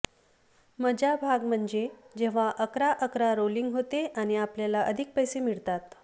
मजा भाग म्हणजे जेव्हा अकरा अकरा रोलिंग होते आणि आपल्याला अधिक पैसे मिळतात